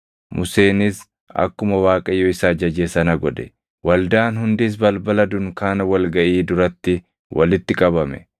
Museenis akkuma Waaqayyo isa ajaje sana godhe; waldaan hundis balbala dunkaana wal gaʼii duratti walitti qabame.